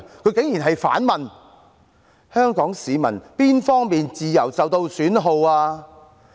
她竟然反問香港市民哪方面的自由受到損耗？